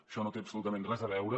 això no hi té absolutament res a veure